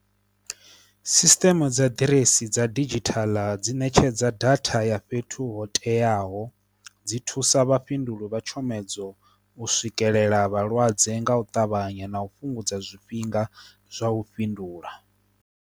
Sisteme dza ḓiresi dza digital dzi ṋetshedza data ya fhethu ho teaho dzi thusa vhafhinduleli vha tshomedzo u swikelela vhalwadze nga u ṱavhanya na u fhungudza zwifhinga zwa u fhindula.